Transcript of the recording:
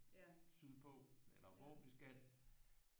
Sydpå eller hvor vi skal